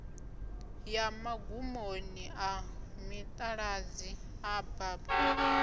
ya magumoni a mitaladzi abab